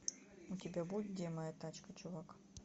у тебя будет где моя тачка чувак